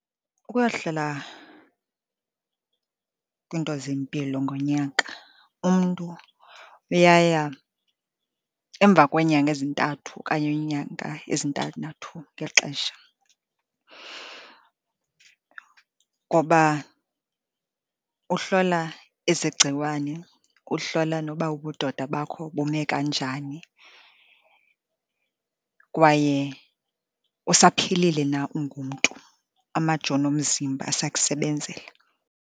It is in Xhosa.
Ukuyohlala kwiinto zempilo ngonyaka umntu uyaya emva kweenyanga ezintathu okanye iinyanga ezintandathu ngexesha, ngoba uhlola ezegciwane, uhlola noba ubudoda bakho bume kanjani kwaye usaphilile na ungumntu, amajoni omzimba asakusebenzela.